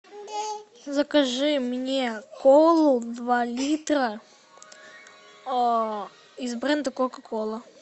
закажи мне колу два литра из бренда кока кола